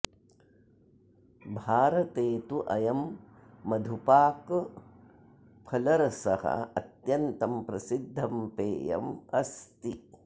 भारते तु अयं मधुपाकफलरसः अत्यन्तं प्रसिद्धं पेयम् अस्ति